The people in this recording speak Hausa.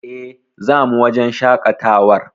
E, zamu wajen shaƙatawar.